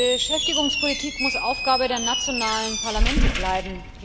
Beschäftigungspolitik muss Aufgabe der nationalen Parlamente bleiben.